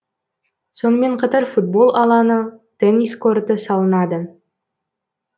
сонымен қатар футбол алаңы теннис корты салынады